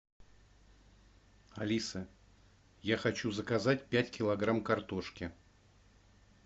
алиса я хочу заказать пять килограмм картошки